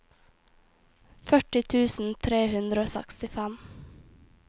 førti tusen tre hundre og sekstifem